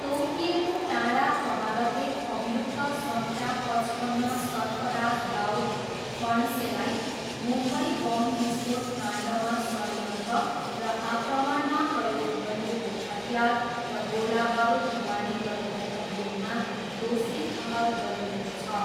तोकिएको टाडा अदालतले अभियुक्त सङ्ख्या पचपन्न सर्फराज दाउद फणसेलाई मुम्बई बम विस्फोट काण्डमा षड्यन्त्र र आक्रमणमा प्रयोग गरिएको हतियार र गोलाबारुद ढुवानी गरेको अभियोगमा दोषी ठहर गरिएको छ।